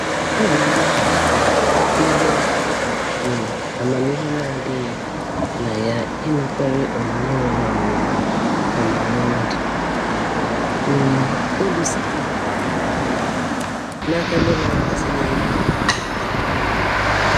Ọ bụ ihe um bụ ihe um amamihe na-adịghị na ya ịnakwere onyinye nwere ọnụma ọmụrụ nwa dị um elu sitere um n'aka ndị na-agbazinye ego na-akwadoghị.